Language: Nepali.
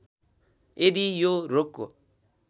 यदि यो रोगको